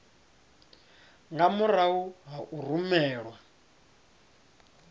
nga murahu ha u rumelwa